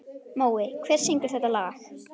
Mói, hver syngur þetta lag?